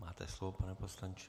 Máte slovo, pane poslanče.